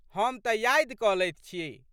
हम तऽ यादि कऽ लैत छी।